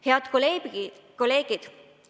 Head kolleegid!